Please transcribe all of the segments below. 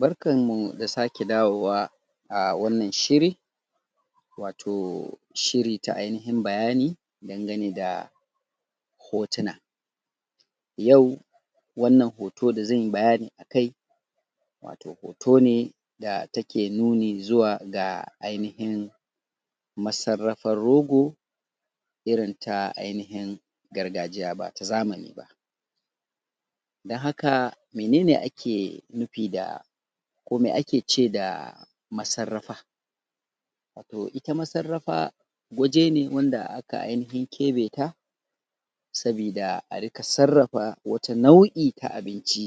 Barkanmu da sake dawowa a wannan shiri wato shiri ta ainihin bayani dangane da hotuna yau wannan hoto da zan yi bayani a kai wato hoto ne da ke nuni zuga ainihin masarrafar rogo irin ta ainihin gargajiya ba ta zamani ba don haka mene ne ake nufi da ko me ake ce da masarrafa to ita masarrafa waje wanda wato aka ainihin keɓe ta sabida a riƙa sarrafa wata na’u’i ta abinci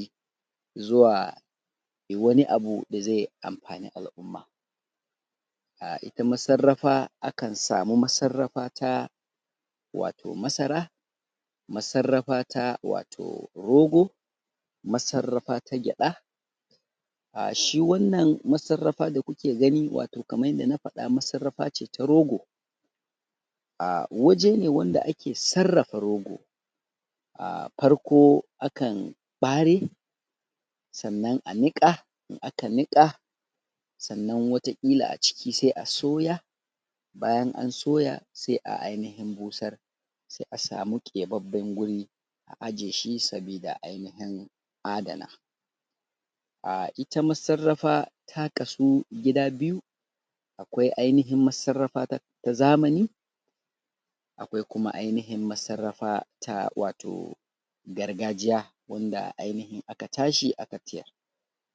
i zuwa wani abu da zai amfani al’umma a ita masarrafa akan samu masarrafa ta wato masara masarrafa ta wato rogo masarrafa ta gyaɗa, a shi wannan masarrafa da ku ke gani wato kamar yadda na faɗa wato masarrafa ce ta rogo aa waje ne wanda ake sarrafa rogo aa farko akan ɓare sannan a niƙa, in aka niƙa sannan wataƙila a ciki sai a soya bayan an soya sai a ainihin busar sai a samu keɓaɓɓen guri a aje shi saboda a ainihin adana aa ita masarrafa ta kasu gida biyu akwai ainihin masarrafa ta zamani akwai kuma ainihin masarrafa ta wato gargajiya wanda ainihin aka tashi aka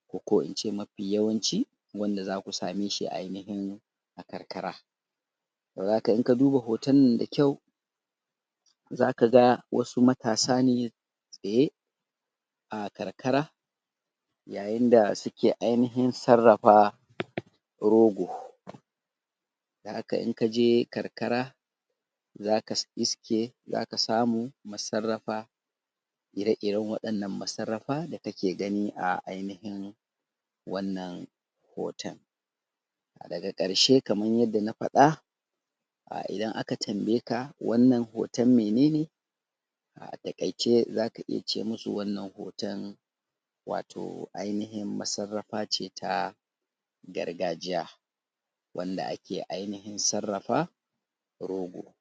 ko ko in ce mafi yawanci wanda zaku same shi a ainihi a karkara haka inka duba hoton nan da kyau zaka ga wasu matasa ne tsaye a karkara yayin da suke ainihin sarrafa rogo don haka inka je karkara zaka iske zaka samu masaraffa ire-iren waɗannan masarrafa da ka ke gani a ainihin wannan hoton daga ƙarshe kamar yadda na faɗa a idan aka tambaye ka wannnan hoton mene ne a taƙaice zaka iya ce musu wannan hoton wato ainihin masarrafa ce ta gargajiya wanda ake nufin sarrafa rogo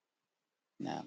na